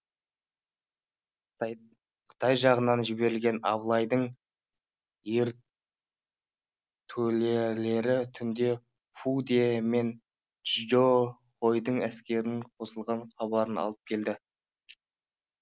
қытай жағынан жіберген абылайдың ертөлелері түнде фу де мен чжао хойдың әскерінің қосылған хабарын алып келді